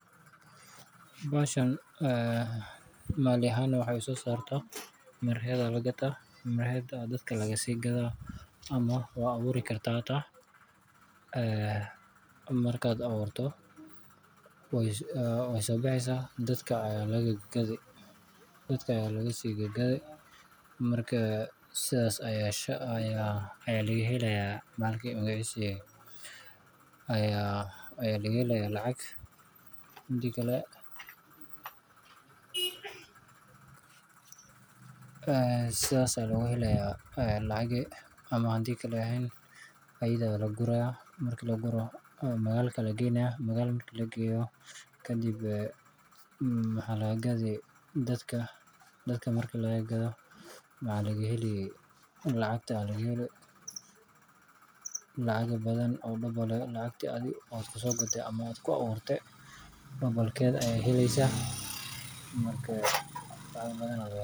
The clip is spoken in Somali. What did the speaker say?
Mireheeda laga ddaa ama dadka laga sii gadaa, ama waa la abuuri karaa oo way soo baxaysaa. Dadka ayaa laga sii gadaa, saas ayaa lacag looga helaa. Waa la geyn karaa magaalada, dadka ayaa laga gadaa. Waxa laga helaa lacag, lacagtana lagu aburaa ama lagu soo gadaa (double) keddib.